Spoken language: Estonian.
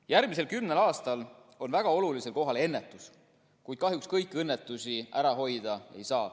Järgmisel kümnel aastal on väga olulisel kohal ennetus, kuid kahjuks kõiki õnnetusi ära hoida ei saa.